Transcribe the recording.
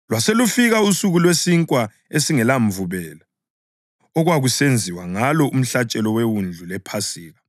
Lwaselufika usuku lweSinkwa esingelaMvubelo okwakusenziwa ngalo umhlatshelo wewundlu lePhasika.